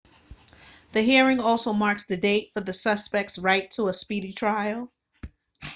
the hearing also marks the date for the suspect's right to a speedy trial